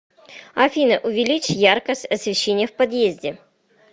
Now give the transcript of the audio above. афина увеличь яркость освещения в подъезде